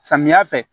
Samiya fɛ